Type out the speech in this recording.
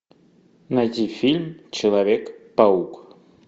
найди фильм человек паук